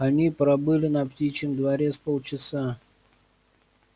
они пробыли на птичьем дворе с полчаса